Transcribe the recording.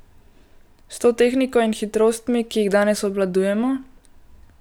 S to tehniko in hitrostmi, ki jih danes obvladujemo.